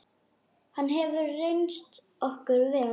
Hann hefur reynst okkur vel.